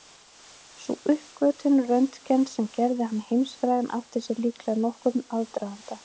Sú uppgötvun Röntgens sem gerði hann heimsfrægan átti sér líklega nokkurn aðdraganda.